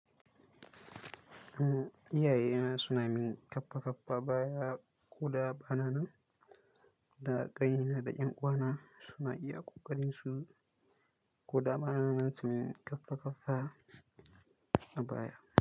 Umm, iyaye na suna min kaffa kaffa baya ko da bana nan, da ƙanai na da ƴan'uwa na suna iya ƙoƙarin su ko da bana nan suna min kaffa kaffa a baya.